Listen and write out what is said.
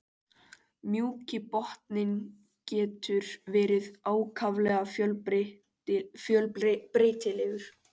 Mjúki botninn getur verið ákaflega fjölbreytilegur.